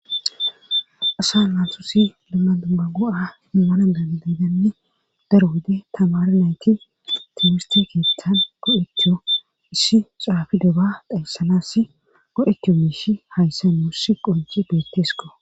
asa lansosi limma dumma go7a himmana dadedanne daro wode tamara nayti timistikistan godheto issi caafidoba dhayssanas godeto miishi hayssa n wussi qonji beettesko